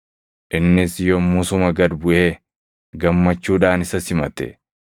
Innis yommusuma gad buʼee gammachuudhaan isa simate.